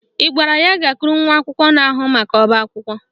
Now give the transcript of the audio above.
Ị gwara ya gakwuru nwa akwụkwọ na-ahụ maka ọbaakwụkwọ?